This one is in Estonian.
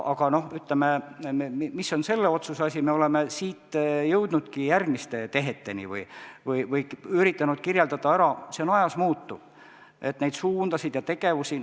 Aga, ütleme, mis on selle otsuse asi, me oleme siit jõudnudki järgmiste teheteni või üritanud kirjeldada ära neid suundasid ja tegevusi.